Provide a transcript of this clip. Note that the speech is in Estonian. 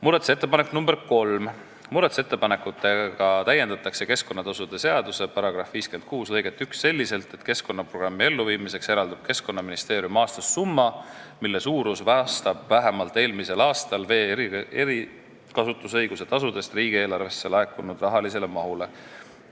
Muudatusettepanekuga nr 3 täiendatakse keskkonnatasude seaduse § 56 lõiget 1 selliselt, et keskkonnaprogrammi elluviimiseks eraldab Keskkonnaministeerium aastas summa, mille suurus vastab vähemalt eelmisel aastal vee erikasutusõiguse tasudest riigieelarvesse laekunud summale.